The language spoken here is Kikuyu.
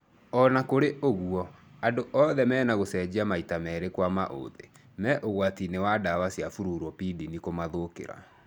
Ona kũrĩ ũguo, andũ othe mena gũcenjia maita merĩ kwa maũthĩ, me ũgwati-inĩ wa ndawa cia fluropyrimidine kũmathũkĩra